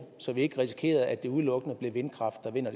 så vi ikke risikerer at det udelukkende bliver vindkraft der vinder